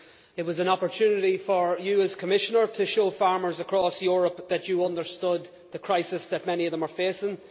It was an opportunity for you, Commissioner, to show farmers across Europe that you understood the crisis that many of them are facing.